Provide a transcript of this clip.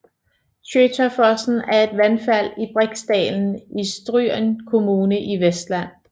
Tjøtafossen er et vandfald i Briksdalen i Stryn kommune i Vestland